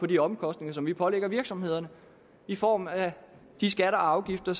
de omkostninger som vi pålægger virksomhederne i form af de skatter og afgifter